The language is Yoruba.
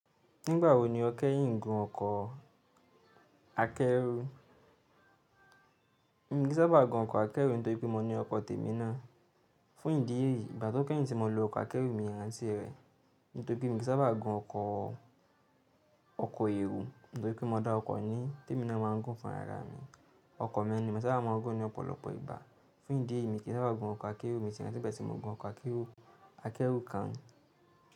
Nígbà wo ni o kẹ́yìn gun ọkọ̀ akẹ́rù? Mi kì í sábà gun ọkọ̀ akẹ́rù nítorí pé mo ní ọkọ̀ tèmi náà. Fún ìdí èyí, ìgbà tó kẹ́yìn tí mo lo ọkọ̀ akẹ́rù mi ranti rẹ̀ nítorí pé mi kì í sábà gun ọkọ̀ èro nítorí pé mo dá ọkọ̀ ní tèmi náà máà ń gùn fún ara mi. Ọkọ̀ mi ni mo sábà máa ń gùn ní ọ̀pọ̀lọpọ̀ ìgbà. Fún ìdí èyí, mi kì í sábà gun ọkọ̀ akẹ́rù mi ti ranti pẹ̀ tí mo gun ọkọ̀ akẹ́rù kan.